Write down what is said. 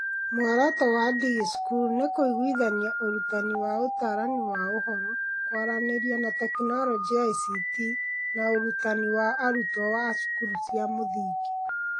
Muoroto wa DigiSchool nĩ kũiguithania ũrutani wa Ũtaarani wa Ũhoro, Kwaranĩria na Teknoroji (ICT) na ũrutani wa arutwo a cukuru cia mũthingi.